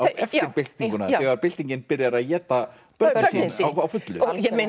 byltinguna þegar byltingin byrjar að éta börnin sín á fullu